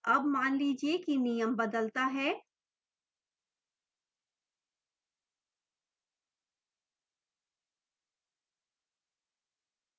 अब मान लीजिए कि नियम बदलता है 8000 रुपये से अधिक पाने वाले छात्रों के लिए स्टाइपेंड में 50% की वृद्धि